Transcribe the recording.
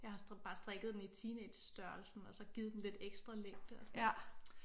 Jeg har bare strikket den i teenagestørrelsen og så givet den lidt ekstra længde og sådan noget